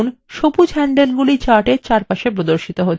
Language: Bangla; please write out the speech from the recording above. দেখুন সবুজ হ্যান্ডলগুলি chartএর চারপাশে প্রদর্শিত হচ্ছে